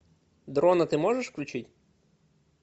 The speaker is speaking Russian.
дрона ты можешь включить